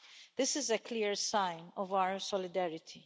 This is a clear sign of our solidarity.